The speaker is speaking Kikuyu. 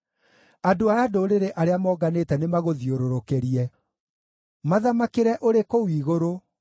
Andũ a ndũrĩrĩ arĩa monganĩte nĩmagũthiũrũrũkĩrie. Mathamakĩre ũrĩ kũu igũrũ;